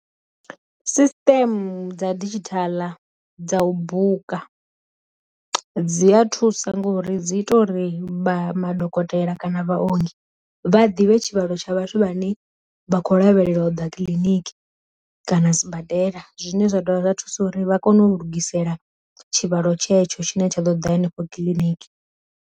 Sisiṱeme dza didzhithala dza u buka, dzi a thusa ngori dzi ita uri vha madokotela kana vha ongi vha ḓivhe tshi tshivhalo tsha vhathu vhane vha kho lavhelela u ḓa kiḽiniki kana sibadela, zwine zwa dovha zwa thusa uri vha kone u lugisela tshivhalo tshetsho tshine tsha ḓo ḓa henefho kiḽiniki.